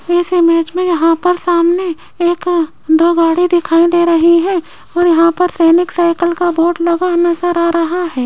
इस इमेज में यहां पर सामने एक दो गाड़ी दिखाई दे रही है और यहां पर सैनिक साइकिल का बोर्ड लगा नजर आ रहा है।